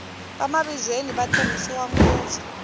vamavizweni va tirhisiwa ngopfu